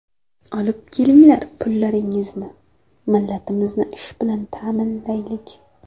Olib kelinglar pullaringni millatimizni ish bilan ta’minlaylik.